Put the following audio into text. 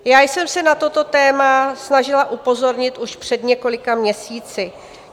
Já jsem se na toto téma snažila upozornit už před několika měsíci.